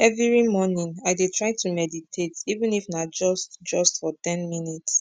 everi mornin i dey try to meditate even if na just just for ten minutes